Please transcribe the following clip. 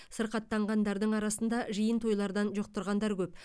сырқаттанғандардың арасында жиын тойлардан жұқтырғандар көп